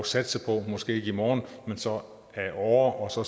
satse på måske ikke i morgen men så ad åre og så